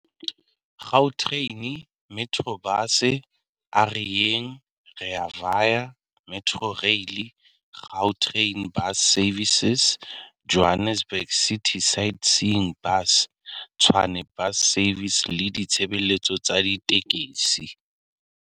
Gautrain, Metrobus, A Re Yeng, Rea Vaya, Metrorail, Gau train Bus Services, Johannesburg City Sightseeing Bus, Tshwane Bus Services le ditshebeletso tsa ditekesi.